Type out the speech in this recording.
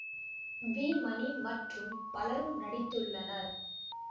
we Mani மற்றும் பலரும் நடித்துள்ளனர்